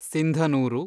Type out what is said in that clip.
Sindhanur